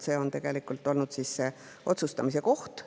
See on tegelikult olnud otsustamise koht.